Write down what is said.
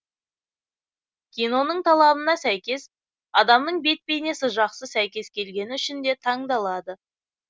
киноның талабына сәйкес адамның бет бейнесі жақсы сәйкес келгені үшін де таңдалады